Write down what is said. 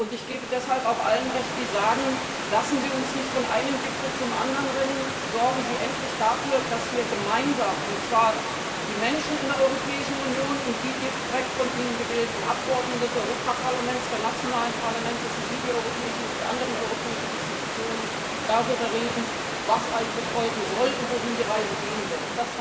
Ich gebe deshalb auch allen Recht, die sagen Lassen Sie uns nicht von einem Gipfel zum anderen rennen, sorgen Sie endlich dafür, dass wir gemeinsam und zwar die Menschen in der Europäischen Union und die direkt von ihnen gewählten Abgeordneten des Europaparlaments, der nationalen Parlamente sowie die anderen europäischen Institutionen darüber reden, was eigentlich folgen soll und wohin die Reise gehen wird.